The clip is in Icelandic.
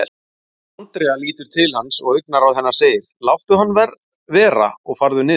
Andrea lítur til hans og augnaráð hennar segir, láttu hann vera og farðu niður.